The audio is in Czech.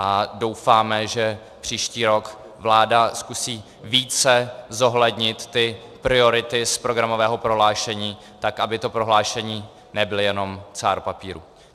A doufáme, že příští rok vláda zkusí více zohlednit ty priority z programového prohlášení, tak aby to prohlášení nebyl jen cár papíru.